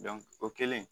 o kɛlen